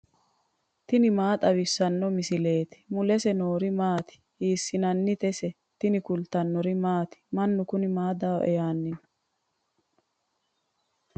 tini maa xawissanno misileeti ? mulese noori maati ? hiissinannite ise ? tini kultannori maati? Mannu kunni maa dawoe yaanni noo?